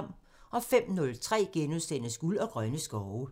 05:03: Guld og grønne skove *(tir)